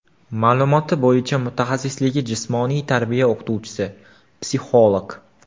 Ma’lumoti bo‘yicha mutaxassisligi jismoniy tarbiya o‘qituvchisi, psixolog.